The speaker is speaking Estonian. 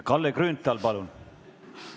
Kalle Grünthal, palun!